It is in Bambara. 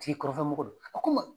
ti kɔrɔnfɛ mɔgɔ do a ko n ma.